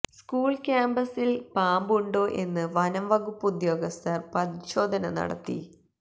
school ക്യാംപസിൽ പാമ്പ് ഉണ്ടോ എന്ന് വനംവകുപ്പ് ഉദ്യോഗസ്ഥർ പരിശോധന നടത്തി